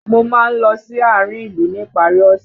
Mo máa ń lọ sí àárín ìlú ní ìparí ọ̀ṣẹ̀